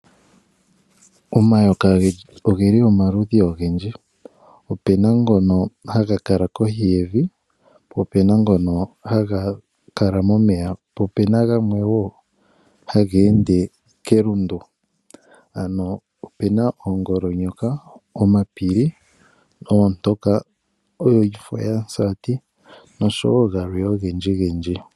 Omayoka oge li omaludhi ogendji. Ope na ngono haga kala kohi yevi, po ope na ngono haga kala momeya, po ope na gamwe wo haga ende kelundu, ano ope na oongolonyoka, omapili, oontoka, ooyiifoyamusati nosho wo galwe ogendji gendji.